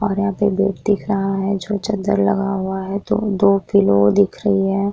और यहां पे एक बेड दिख रहा है जो चद्दर लगा हुआ है और दो पिलो दिख रही है।